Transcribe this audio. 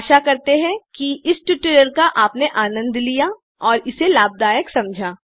आशा करते हैं कि इस ट्यूटोरियल का आपने आनंद लिया और इसे लाभदायक समझा